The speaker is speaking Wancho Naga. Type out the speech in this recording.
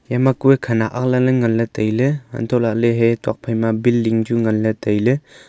eyama kue khanak aggana nganla tailey hantohlaley hai tokphai ma building chu nganla tailey.